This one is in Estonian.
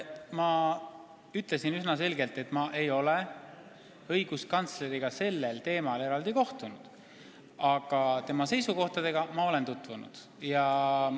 Ma ütlesin üsna selgelt, et ma ei ole õiguskantsleriga sellel teemal vestlemiseks eraldi kohtunud, aga tema seisukohtadega ma olen tutvunud.